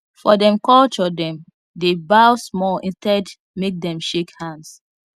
for dem culturedem dey bow small instead make dem shake hands